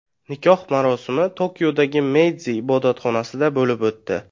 Nikoh marosimi Tokiodagi Meydzi ibodatxonasida bo‘lib o‘tdi.